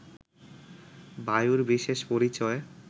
বায়ুর বিশেষ পরিচয়